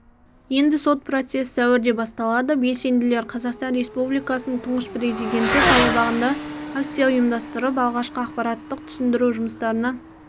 енді сот процесі сәуірде басталады белсенділер қазақстан республикасының тұңғыш президенті саябағында акция ұйымдастырып алғашқы ақпараттық-түсіндіру жұмыстарына